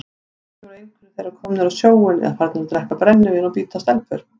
Kannski voru einhverjir þeirra komnir á sjóinn eða farnir að drekka brennivín og bíta stelpur.